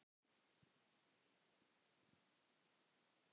Össur þóttist hlæja: Ha ha.